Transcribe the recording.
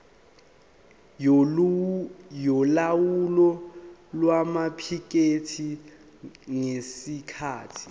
yolawulo lwamaphikethi ngesikhathi